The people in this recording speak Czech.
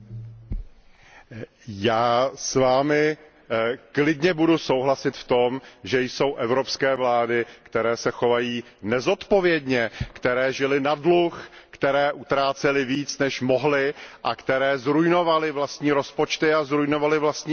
Pane Theurere, já s vámi klidně budu souhlasit v tom, že jsou evropské vlády, které se chovají nezodpovědně, které žily na dluh, které utrácely víc, než mohly, a které zruinovaly vlastní rozpočty a zruinovaly vlastní ekonomiku.